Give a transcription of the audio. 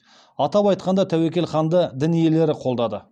атап айтқанда тәуекел ханды дін иелері қолдады